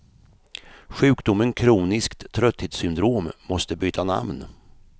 Sjukdomen kroniskt trötthetssyndrom måste byta namn.